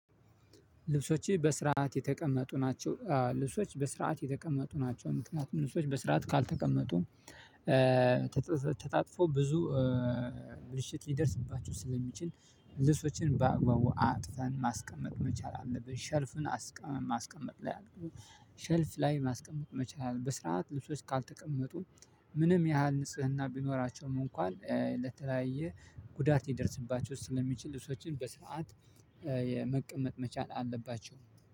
ልብሶቼ በስርዓት የተቀመጡ ናቸው። ልብሶች በስርዓት የተቀመጡ ናቸው። ምክንያቱም ልብሶች በስርዓት ካልተቀመጡ ተጣጥፎ ብዙ ብልሽት ሊደርስባችሁ ስለሚችል ልብሶችን በአግባቡ አጥፈን ማስቀመጥ መቻል አለብን። ሸልፍ ማስቀመጥ ላይ አለብን። ሼልፍ ላይ ማስቀመጥ መቻል አለብህ። በስርዓት ልብሶች ካልተቀመጡ ምንም ያህል ንጽህና ቢኖራቸውም እንኳን ለተለያየ ጉዳት ሊደረሰባቸው ስለሚችል። ልብሶችን በስርዓት የመቀመጥ መቻል አለባቸው።